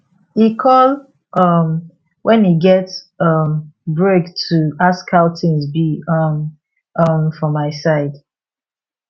e call um when e get um break to ask how things be um um for my side